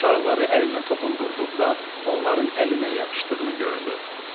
Şarları əlinə toxundurduqda, onların əlinə yapışdığını gördü.